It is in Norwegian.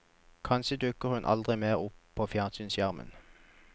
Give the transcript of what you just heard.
Kanskje dukker hun aldri mer opp på fjernsynsskjermen.